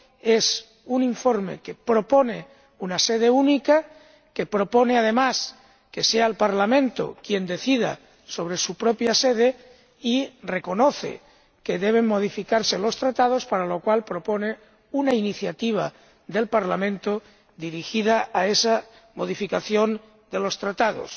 el informe propone una sede única y que, además, sea el Parlamento quien decida sobre ella, y reconoce que deben modificarse los Tratados, para lo cual propone una iniciativa del Parlamento dirigida a esa modificación de los Tratados.